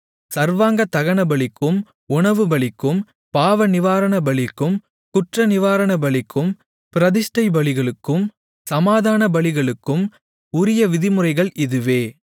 சர்வாங்கதகனபலிக்கும் உணவுபலிக்கும் பாவநிவாரணபலிக்கும் குற்றநிவாரணபலிக்கும் பிரதிஷ்டைபலிகளுக்கும் சமாதானபலிகளுக்கும் உரிய விதிமுறைகள் இதுவே